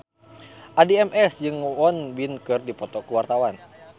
Addie MS jeung Won Bin keur dipoto ku wartawan